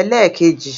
ẹlẹ́ẹ̀kejì